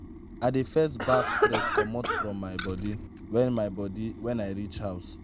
i dey first baff stress comot from my bodi wen my bodi wen i reach house.